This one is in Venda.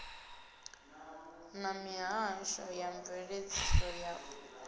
na mihasho ya mveledziso ya